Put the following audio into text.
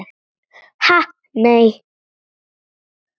Ha nei.